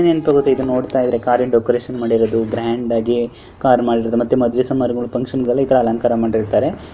ಇದು ನೆನಪಾಗುತ್ತೆ ಇದು ನೋಡತ್ತಾ ಇದ್ರೆ ಕಾರಿನ್ ಡೆಕೋರೇಷನ್ ಮಾಡಿರೋದು ಗ್ರ್ಯಾಂಡಾಗಿ ಕಾರ್ ಮಾಡಿರೋದು ಮತ್ತೆ ಮದುವೆ ಸಮಾರಂಭ ಫಕ್ಷನ್ ಗಳಲ್ಲಿ ಇತರ ಅಲಂಕಾರ ಮಾಡಿರತ್ತಾರೆ.